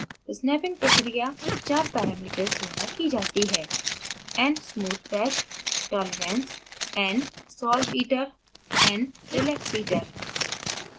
snapping प्रक्रिया चार parameters द्वारा की जाती है: